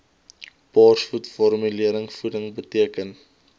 borsvoed formulevoeding beteken